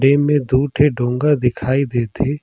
एमेर दू ठी डोंगा दिखाई देत हे।